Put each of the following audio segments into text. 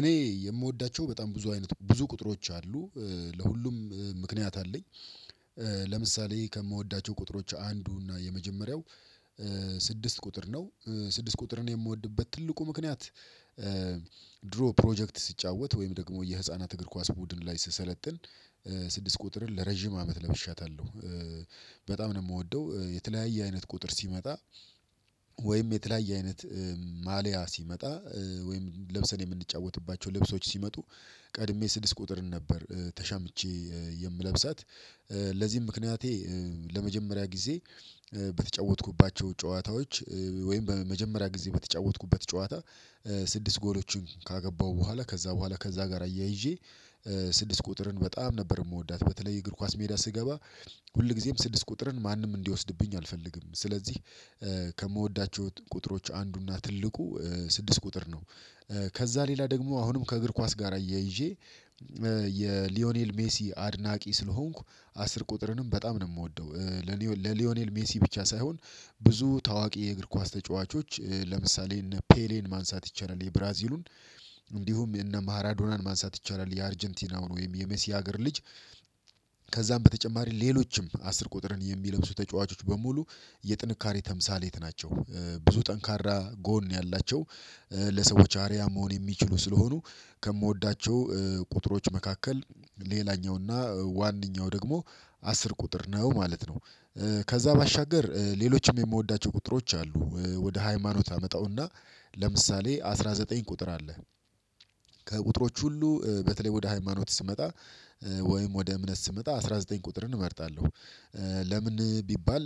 እኔ የምወዳቸው በጣም ብዙ አይነት ብዙ ቁጥሮች አሉ ለሁሉም ምክንያት አለኝ ለምሳሌ ከምወዳቸው ቁጥሮች አንዱ እና የመጀመሪያው ስድስት ቁጥር ነው ስድስት ቁጥርን የምወድበት ትልቁ ምክንያት ድሮ ፕሮጀክት ሲጫወት ወይም ደግሞ የህፃናት እግር ኳስ ቡድን ላይ ስሰለጥን ስድስት ቁጥርን ለረጅም አመት ለብሻታለሁ በጣም ነው የምወደው የተለያየ አይነት ቁጥር ሲመጣ ወይም የተለያየ አይነት ማልያ ሲመጣ ወይም ለብሰን የምንጫወትባቸው ልብሶች ሲመጡ ቀድሜ ስድስት ቁጥርን ነበር ተሻምቼ የምለብሳት ለዚህም ምክንያቴ ለመጀመሪያ ጊዜ በተጫወትኩባቸው ጨዋታዎች ወይም በመጀመሪያ ጊዜ በተጫወትኩበት ጨዋታ ስድስት ጎሎችን ካገባሁ በኋላ ከዛ በኋላ ከዛ ጋር አያይዤ ስድስት ቁጥርን በጣም ነበር የምወዳት በተለይ የእግር ኳስ ሜዳ ስገባ ሁልጊዜም ስድስት ቁጥርን ማንም እንዲወስድብኝ አልፈልግም ስለዚህ ከምወዳቸው ቁጥሮች አንዱና ትልቁ ስድስት ቁጥር ነው፤ ከዛ ሌላ ደግሞ አሁንም ከእግር ኳስ ጋር አያይዤ የሊዮኔል ሜሲ አድናቂ ስለሆንኩ አስር ቁጥርንም በጣም ነው የምወደው ለሊዮኔል ሜሲ ብቻ ሳይሆን ብዙ ታዋቂ የእግር ኳስ ተጫዋቾች ለምሳሌ እነ ፔሌን ማንሳት ይቻላል የብራዚሉን እንዲሁም እነ ማራዶናን ማንሳት ይቻላል የአርጀንቲናውን ወይም የመሲህ ሀገር ልጅ ከዛም በተጨማሪ ሌሎችም አስር ቁጥርን የሚለብሱ ተጫዋቾች በሙሉ የጥንካሬ ተምሳሌት ናቸው፤ ብዙ ጠንካራ ጎን ያላቸው ለሰዎች አርያ መሆን የሚችሉ ስለሆኑ ከምወዳቸው ቁጥሮች መካከል ሌላኛው እና ዋነኛው ደግሞ አስር ቁጥር ነው ማለት ነው፤ ከዛ ባሻገር ሌሎችም የምወዳቸው ቁጥሮች አሉ ወደ ሃይማኖት አመጣውና ለምሳሌ አስራ ዘጠኝ ቁጥር አለ ከቁጥሮች ሁሉ በተለይ ወደ ሃይማኖት ስመጣ ወይም ወደ እምነት ስመጣ አስራ ዘጠኝ ቁጥርን እመርጣለሁ ለምን ቢባል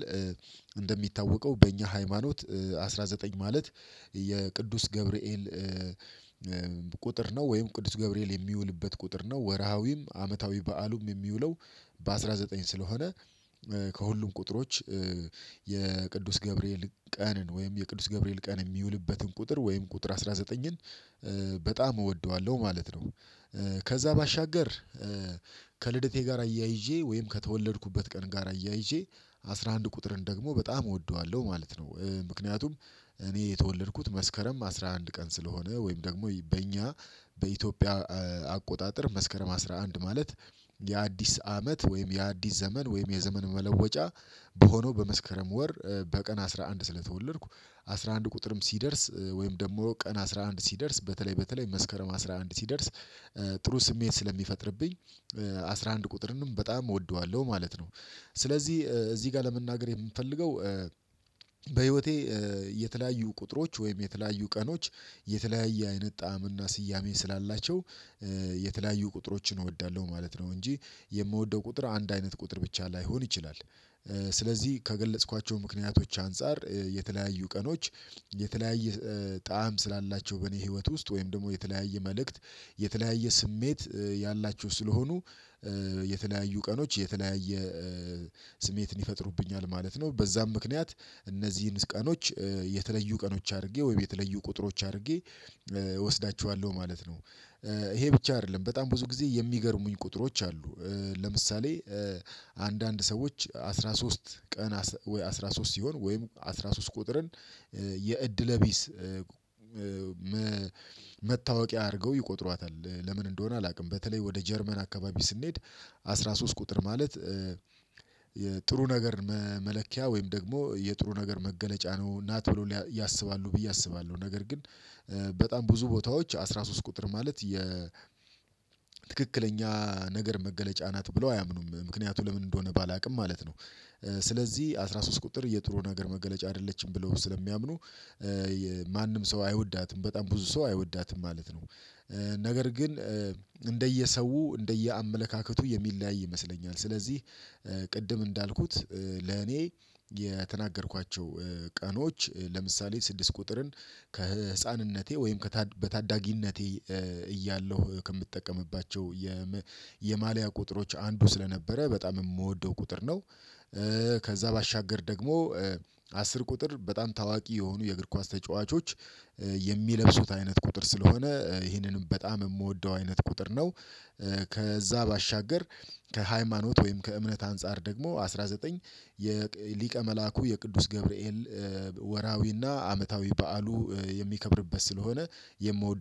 እንደሚታወቀው በእኛ ሃይማኖት አስራ ዘጠኝ ማለት የቅዱስ ገብርኤል ቁጥር ነው ወይም ቅዱስ ገብርኤል የሚውልበት ቁጥር ነው ወርሃዊም አመታዊ በዓሉም የሚውለው በአስራ ዘጠኝ ስለሆነ ከሁሉም ቁጥሮች የቅዱስ ገብርኤል ቀንን ወይም የቅዱስ ገብርኤል ቀን የሚውልበትን ቁጥር ወይም ቁጥር አስራ ዘጠኝን በጣም እወደዋለሁ ማለት ነው። ከዛ ባሻገር ከልደቴ ጋር አያይዤ ወይም ከተወለድኩበት ቀን ጋር አያይዤ አስራ አንድ ቁጥርን ደግሞ በጣም እወደዋለሁ ማለት ነው ምክንያቱም እኔ የተወለድኩት መስከረም አስራ አንድ ቀን ስለሆነ ወይም ደግሞ በእኛ በኢትዮጵያ አቆጣጠር መስከረም አስራ አንድ ማለት የአዲስ አመት ወይም የአዲስ ዘመን ወይም የዘመን መለወጫ በሆነው በመስከረም ወር በቀን አስራ አንድ ስለተወለድኩ አስራ አንድ ቁጥርም ሲደርስ ወይም ደግሞ ቀን አስራ አንድ ሲደርስ በተለይ በተለይ መስከረም አስራ አንድ ሲደርስ ጥሩ ስሜት ስለሚፈጥርብኝ አስራ አንድ ቁጥርንም በጣም እወደዋለሁ ማለት ነ፤ ስለዚህ እዚህ ጋር ለመናገር የምፈልገው በህይወቴ የተለያዩ ቁጥሮች ወይም የተለያዩ ቀኖች የተለያየ አይነት ጣዕምና ስያሜ ስላላቸው የተለያዩ ቁጥሮችን እወዳለሁ ማለት ነው እንጂ የምወደው ቁጥር አንድ አይነት ቁጥር ብቻ ላይሆን ይችላል፤ ስለዚህ ከገለጽኳቸው ምክንያቶች አንፃር የተለያዩ ቀኖች የተለያየ ጣዕም ስላላቸው በኔ ህይወት ውስጥ ወይም ደግሞ የተለያየ መልእክት የተለያየ ስሜት ያላችሁ ስለሆኑ የተለያዩ ቀኖች የተለያየ ስሜትን ይፈጥሩብኛል ማለት ነው በዛም ምክንያት እነዚህን ቀኖች የተለዩ ቀኖች አድርጌ ወይ የተለዩ ቁጥሮች አድርጌ እወስዳቸዋለሁ ማለት ነው፤ ይሄ ብቻ አይደለም በጣም ብዙ ጊዜ የሚገርሙኝ ቁጥሮች አሉ ለምሳሌ አንዳንድ ሰዎች አስራ ሶስት ቀን ወይ አስራ ሶስት ሲሆን ወይም አስራ ሶስት ቁጥርን የእድለቢስ መታወቂያ አድርገው ይቆጥሯታል ለምን እንደሆነ አላውቅም በተለይ ወደ ጀርመን አካባቢ ስንሄድ አስራ ሶስት ቁጥር ማለት የጥሩ ነገር መመለኪያ ወይም ደግሞ የጥሩ ነገር መገለጫ ነው እና ቶሎ ያስባሉ ብዬ አስባለሁ ነገር ግን በጣም ብዙ ቦታዎች አስራ ሶስት ቁጥር ማለት የትክክለኛ ነገር መገለጫ ናት ብለው አያምኑም ምክንያቱ ለምን እንደሆነ ባላውቅም ማለት ነው ስለዚህ አስራ ሶስት ቁጥር የጥሩ ነገር መገለጫ አይደለችም ብለው ስለሚያምኑ ማንም ሰው አይወዳትም በጣም ብዙ ሰው አይወዳትም ማለት ነው፤ ነገር ግን እንደየሰው እንደየአመለካከቱ የሚለያይ ይመስለኛል ስለዚህ ቅድም እንዳልኩት ለኔ የተናገርኳቸው ቀኖች ለምሳሌ ስድስት ቁጥርን ከህፃንነቴ ወይም በታዳጊነቴ እያለሁ ከምጠቀምባቸው የማልያ ቁጥሮች አንዱ ስለነበረ በጣም የምወደው ቁጥር ነው፤ ከዛ ባሻገር ደግሞ አስር ቁጥር በጣም ታዋቂ የሆኑ የእግር ኳስ ተጫዋቾች የሚለብሱት አይነት ቁጥር ስለሆነ ይህንንም በጣም የምወደው አይነት ቁጥር ነው፤ ከዛ ባሻገር ከሃይማኖት ወይም ከእምነት አንፃር ደግሞ አስራ ዘጠኝ የሊቀ መላኩ የቅዱስ ገብርኤል ወራዊና አመታዊ በዓሉ የሚከብርበት ስለሆነ የምወደው